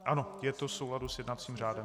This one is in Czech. Ano, je to v souladu s jednacím řádem.